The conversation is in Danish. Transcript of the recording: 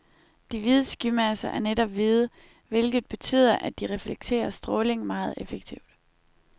De hvide skymasser er netop hvide, hvilket betyder, at de reflekterer stråling meget effektivt.